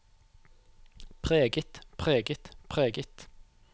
preget preget preget